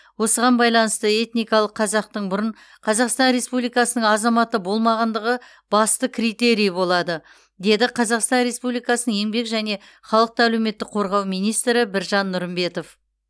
осыған байланысты этникалық қазақтың бұрын қазақстан республикасының азаматы болмағандығы басты критерий болады деді қазақстан республикасының еңбек және халықты әлеуметтік қорғау министрі біржан нұрымбетов